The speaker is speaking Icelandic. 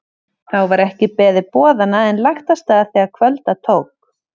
Þá var ekki beðið boðanna en lagt af stað þegar kvölda tók.